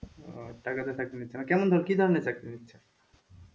টাকা দিয়ে চাকরি নিচ্ছে না কেমন কি ধরনের চাকরি নিচ্ছে?